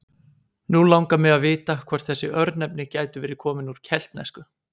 Nú langar mig að vita hvort þessi örnefni gætu verið komin úr keltnesku?